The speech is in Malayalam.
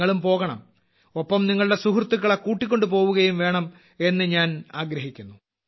നിങ്ങളും പോകണം ഒപ്പം നിങ്ങളുടെ സുഹൃത്തുക്കളെ കൂട്ടിക്കൊണ്ടു പോവുകയും ചെയ്യണം എന്ന് ഞാൻ ആഗ്രഹിക്കുന്നു